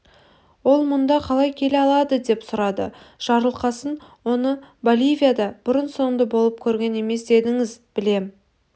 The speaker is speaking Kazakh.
ол мұнда қалай келе алады деп сұрады жарылқасын оны боливияда бұрын-соңды болып көрген емес дедіңіз білем